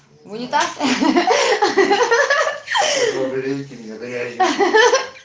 унитаз ахаха